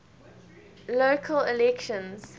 local elections